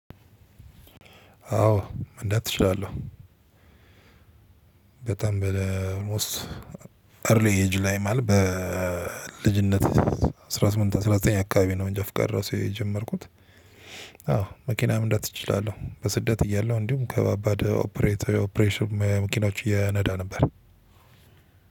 አዎ መንዳት እችላለሁ። በጣም አልሞስት እርሊ ጁላይ ማለት በልጅነት አስራ ስምንት አስራ ዘጠኝ አካባቢ ነው እንጃፍቃድ ራሱ የጀመርኩት። አዎ መኪና መንዳት እችላለሁ በስደት እያለሁ እንዲሁም ከባባድ ኦፕሬሽን መኪናዎች እነዳ ነበር።